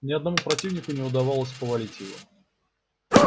ни одному противнику не удавалось повалить его